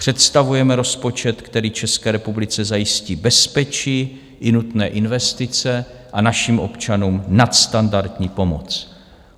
Představujeme rozpočet, který České republice zajistí bezpečí i nutné investice a našim občanům nadstandardní pomoc.